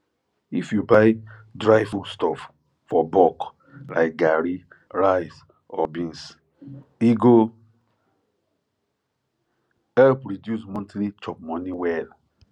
if you buy dry foodstuff for bulk like garri rice or beans e go help reduce monthly chopmoney well